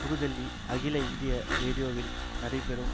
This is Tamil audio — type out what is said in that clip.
புதுடில்லி அகில இந்திய ரேடியோவில் நடைபெறும்